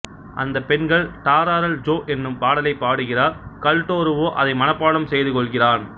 அந்தப்பெண்கள் டாராரல்ஜோ என்னும் பாடலை பாடுகிறார்கள்டோருவோ அதை மனப்பாடம் செய்து கொள்கிறான்